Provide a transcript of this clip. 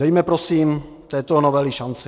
Dejme prosím této novele šanci.